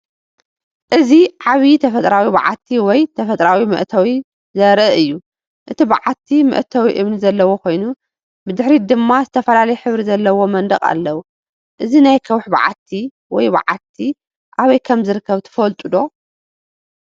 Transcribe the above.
እዚ ዓብይ ተፈጥሮኣዊ ባዓቲ ወይ ተፈጥሮኣዊ መእተዊ ዘርኢ እዩ። እቲ በዓቲ መእተዊ እምኒ ዘለዎ ኮይኑ፡ ብድሕሪት ድማ ዝተፈላለየ ሕብሪ ዘለዎ መንደቕ ኣለዎ። እዚ ናይ ከውሒ በዓቲ ወይ በዓቲ ኣበይ ከም ዝርከብ ትፈልጡ ዶ?